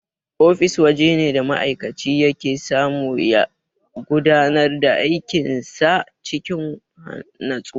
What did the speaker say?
Ofis wajene da ma'aikaci yake samu ya gudanar da aikin sa cikin natsuwa.